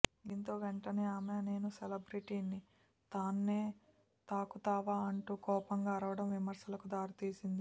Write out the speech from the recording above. దీంతో వెంటనే ఆమె నేను సెలబ్రెటీని తన్నే తాకుతావా అంటూ కోపంగా అరవడం విమర్శలకు దారి తీసింది